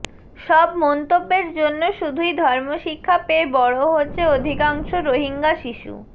সব মন্তব্যের জন্য শুধুই ধর্মশিক্ষা পেয়ে বড়ো হচ্ছে অধিকাংশ রোহিঙ্গা শিশু